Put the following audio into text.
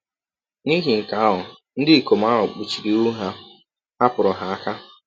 N’ihi nke ahụ, ndị ikom ahụ kpuchiri ihu ha, hapụrụ ha aka.